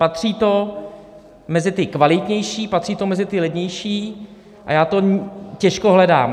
Patří to mezi ty kvalitnější, patří to mezi ty levnější a já to těžko hledám.